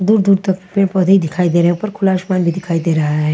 दूर दूर तक पेड़ पौधे ही दिखाई दे रहे है उपर खुला आसमान भी दिखाई दे रहा है।